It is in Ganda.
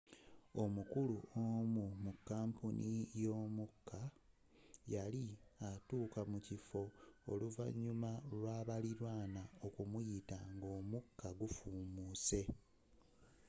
omukulu onu mu kampuni y'omuka yali atuuka mukiffo oluvanyuma lwa balilanwa okumuyita nga omukka gufuumuse